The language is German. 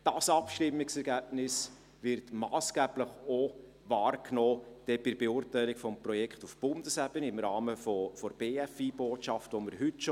Dieses Abstimmungsergebnis wird massgeblich auch wahrgenommen bei der Beurteilung des Projekts auf Bundesebene, im Rahmen der Botschaft zur Förderung von Bildung, Forschung und Innovation (BFI-Botschaft).